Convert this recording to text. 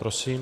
Prosím.